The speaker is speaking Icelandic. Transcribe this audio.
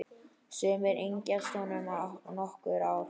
Sumir yngjast um nokkur ár.